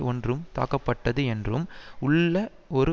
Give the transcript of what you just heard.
ஒன்று தாக்கப்பட்டது என்றும் உள்ள ஒரு